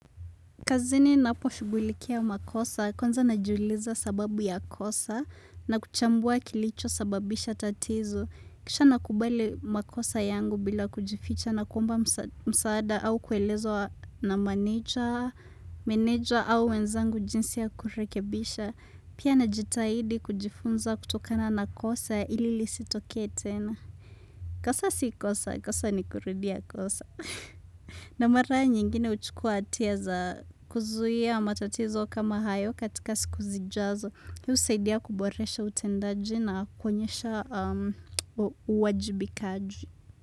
Kazini ninaposhughulikia makosa kwanza najiuliza sababu ya kosa na kuchambua kilicho sababisha tatiz. Kisha nakubali makosa yangu bila kujificha na kuomba msaada au kielezo wa meneja, meneja au wenzangu jinsi ya kurekebisha. Pia najitahidi kujifunza kutokana na kosa ili lisitokee tena. Kosa si kosa, kosa ni kurudia kosa. Na mara nyingine huchukua hatia za kuzuia matatizo kama hayo katika siku zijazo. Hii husaidia kuboresha utendaji na kuonyesha uwajibikaji.